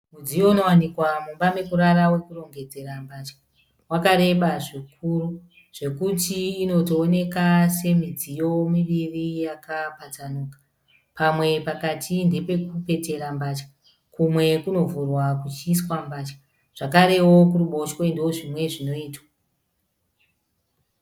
Mudziyo unowanikwa mumba mekurara wekurongedzera mbatya. Wakareba zvikuru zvekuti inotooneka semidziyo miviri yakapatsanuka. Pamwe pakati ndepekupetera mbatya kumwe kunovhurwa kuchiiswa mbatya zvakarewo kuruboshwe ndozvimwe zvinoitwa.